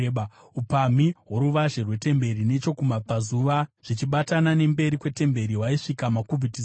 Upamhi hworuvazhe rwetemberi nechokumabvazuva, zvichibatana nemberi kwetemberi, hwaisvika makubhiti zana.